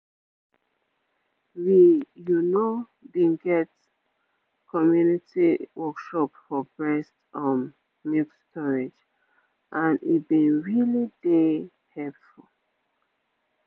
we you know been get community workshop for breast um milk storage and e been really dey helpful